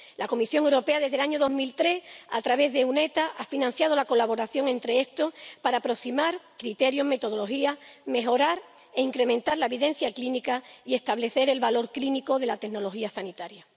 La Comisión Europea, desde el año 2003, a través de la EUnetHTA ha financiado la colaboración entre estos para aproximar criterios, metodología, mejorar e incrementar la evidencia clínica y establecer el valor clínico de la tecnología sanitaria.